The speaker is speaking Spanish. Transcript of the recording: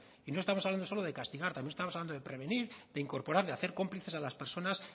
y no estamos hablando solo de castigar también estamos hablando de prevenir de incorporar de hacer cómplices a las personas